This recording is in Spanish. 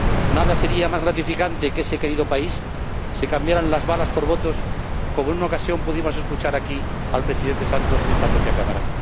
Nada sería más gratificante que en ese querido país se cambiaran las balas por votos, como en una ocasión escuchamos decir al Presidente Santos aquí, en esta propia Cámara.